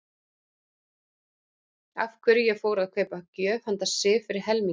Af hverju ég fór að kaupa gjöf handa Sif fyrir helminginn.